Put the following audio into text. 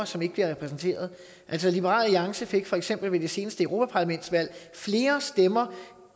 som ikke bliver repræsenteret liberal alliance fik for eksempel ved det seneste europaparlamentsvalg flere stemmer